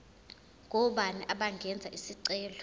ngobani abangenza isicelo